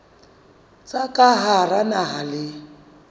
tsa ka hara naha le